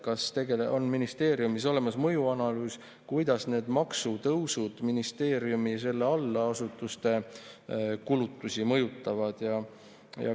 Kas ministeeriumis on olemas mõjuanalüüs, kuidas need maksutõusud ministeeriumi ja selle allasutuste kulutusi mõjutavad?